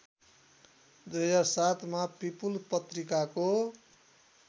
२००७ मा पिपुल पत्रिकाको